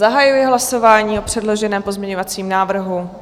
Zahajuji hlasování o předloženém pozměňovacím návrhu.